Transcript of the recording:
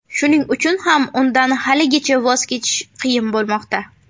Shuning uchun ham undan haligacha voz kechish qiyin bo‘lmoqda.